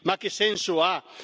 Ma che senso ha?